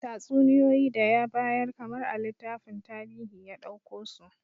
Tatsuniyoyi da ya bayar kamar a littafin tarihi ya dauko su